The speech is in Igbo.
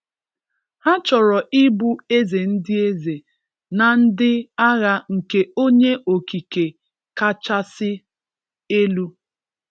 Ha chọrọ ịbụ eze ndị eze na ndị agha nke onye okike kachasị elu.